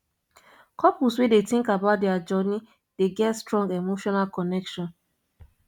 couples wey dey think about dier journey dey get strong emotional connection